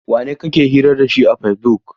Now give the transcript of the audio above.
Wanene kike hira da shi a Fesibuk?